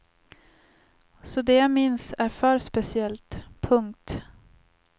Så det jag minns är för speciellt. punkt